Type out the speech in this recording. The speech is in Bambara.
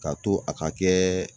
Ka to a ka kɛɛɛ